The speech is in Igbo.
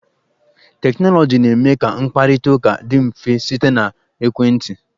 Teknọlọjii na-eme ka mkparịta ụka dị mfe site n'ekwentị.